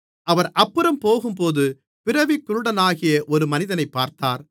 அவர் அப்புறம் போகும்போது பிறவிக் குருடனாகிய ஒரு மனிதனைப் பார்த்தார்